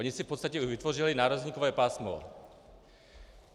Oni si v podstatě vytvořili nárazníkové pásmo.